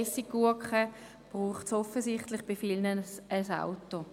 Essiggurken braucht es offenbar bei vielen ein Auto.